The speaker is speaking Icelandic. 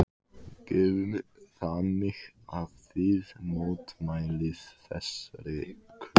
Guðný: Þannig að þið mótmælið þessari kröfu?